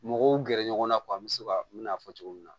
Mɔgɔw gɛrɛ ɲɔgɔn na an be se ka mina fɔ cogo min na